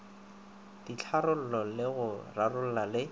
ditharollo le go rarolla le